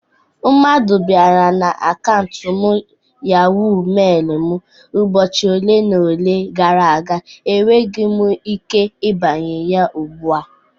Mmadụ bara n'akaụnt YahoMeil m ụbọchị ole na ole gara aga. Ekweghi m ike ibanye ya ugbu a..